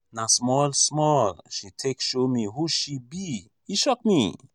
na small-small she take show me who she be e shock me.